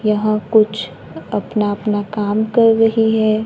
यहां कुछ अपना अपना काम कर रही है।